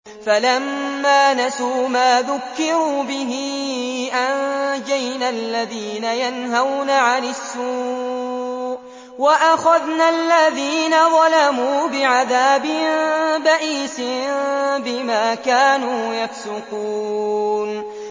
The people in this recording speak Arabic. فَلَمَّا نَسُوا مَا ذُكِّرُوا بِهِ أَنجَيْنَا الَّذِينَ يَنْهَوْنَ عَنِ السُّوءِ وَأَخَذْنَا الَّذِينَ ظَلَمُوا بِعَذَابٍ بَئِيسٍ بِمَا كَانُوا يَفْسُقُونَ